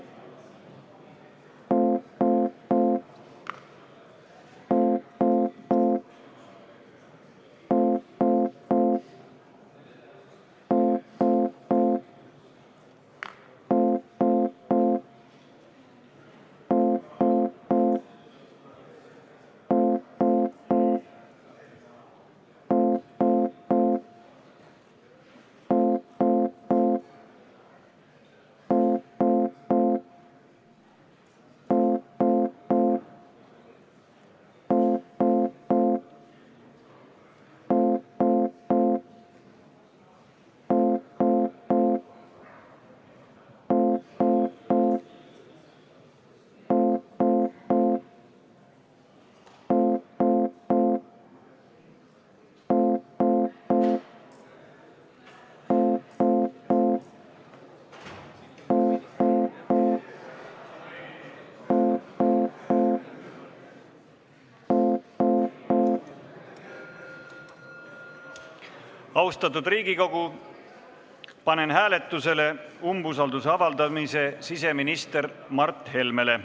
Austatud Riigikogu, panen hääletusele umbusalduse avaldamise siseminister Mart Helmele.